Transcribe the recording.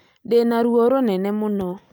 Ndĩ na ruo rũnene mũno